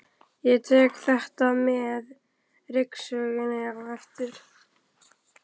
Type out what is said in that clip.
Ég tek þetta með ryksugunni á eftir.